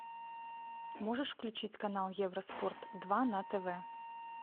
можешь включить канал евроспорт два на тв